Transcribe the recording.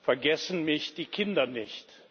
Vergessen mich die Kinder nicht?